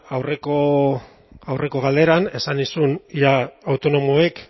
aurreko galderan esan nizun ea autonomoek